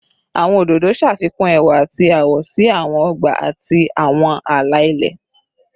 Awọn ododo ṣafikun ẹwa ati awọ si awọn ọgba ati awọn ala-ilẹ